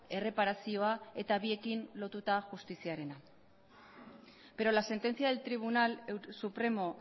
erreparazioa eta biekin lotuta justiziarena pero la sentencia del tribunal supremo